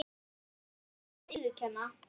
Það hlutu nú allir að viðurkenna.